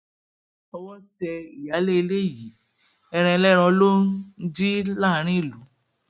owó tẹ ìyáálé ilé yìí ẹran ẹlẹran ló ń jí láàrin ìlú